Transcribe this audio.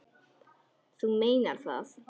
Þú meinar það.